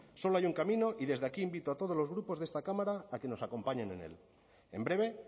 solo hay un camino y desde aquí invito a todos los grupos de esta cámara a que nos acompañen en él en breve